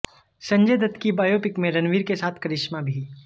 संजय दत्त की बायोपिक में रणबीर के साथ करिश्मा भी